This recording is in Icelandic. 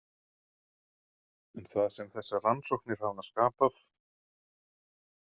En það sem þessar rannsóknir hafa skapað.